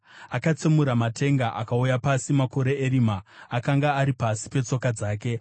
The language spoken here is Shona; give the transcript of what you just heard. Akatsemura matenga akauya pasi; makore erima akanga ari pasi petsoka dzake.